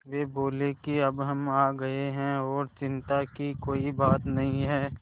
वे बोले कि अब हम आ गए हैं और चिन्ता की कोई बात नहीं है